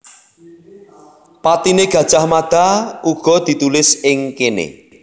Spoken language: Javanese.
Patine Gajah Mada uga ditulis ing kene